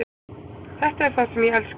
Þetta er það sem ég elska.